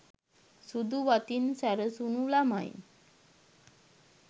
සුදු වතින් සැරසුණු ළමයින්